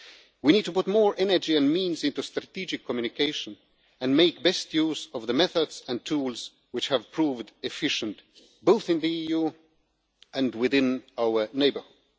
literacy. We need to put more energy and means into strategic communication and make the best use of the methods and tools which have proved efficient both in the EU and within our neighbourhood.